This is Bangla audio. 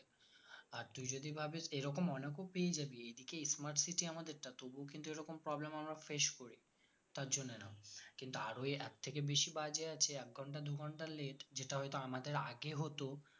আর তুই যদি ভাবিস এরকম অনেকও পেয়ে যাবি এদিকে smart city আমাদেরটা তবুও কিন্তু এরকম problem আমরা face করি তার জন্যে না কিন্তু আরো এর থেকে বেশি বাজে আছে এক ঘন্টা দুই ঘন্টা late যেটা হয়তো আমাদের আগে হতো